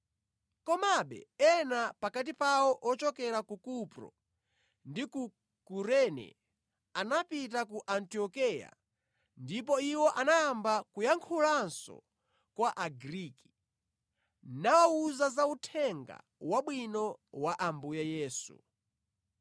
Komabe, ena pakati pawo ochokera ku Kupro ndi ku Kurene anapita ku Antiokeya ndipo iwo anayamba kuyankhulanso kwa Agriki, nawawuza za Uthenga Wabwino wa Ambuye Yesu.